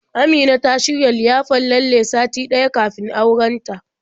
Amina ta shirya liyafar lalle sati ɗaya kafin auren ta.